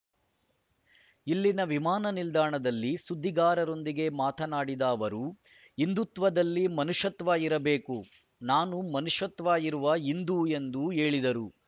ಇಲ್ಲಿನ ವಿಮಾನ ನಿಲ್ದಾಣದಲ್ಲಿ ಸುದ್ದಿಗಾರರೊಂದಿಗೆ ಮಾತನಾಡಿದ ಅವರು ಹಿಂದುತ್ವದಲ್ಲಿ ಮನುಷ್ಯತ್ವ ಇರಬೇಕು ನಾನು ಮನುಷ್ಯತ್ವ ಇರುವ ಹಿಂದು ಎಂದು ಹೇಳಿದರು